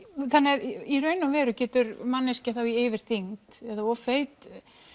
þannig að í raun og veru getur manneskja í yfirþyngd eða of feitur